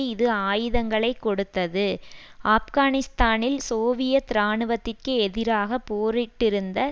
இது ஆயுதங்களை கொடுத்தது ஆப்கானிஸ்தானில் சோவியத் இராணுவத்திற்கு எதிராக போரிட்டிருந்த